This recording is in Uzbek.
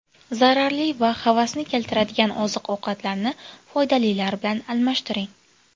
Zararli va havasni keltiradigan oziq-ovqatlarni foydalilar bilan almashtiring.